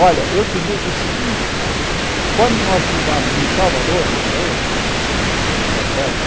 Olha, eu te digo o seguinte, quando nós chegamos em Salvador, na Bahia, está certo?